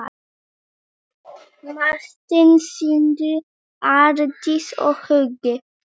Martin, Sindri, Aldís og Hugi.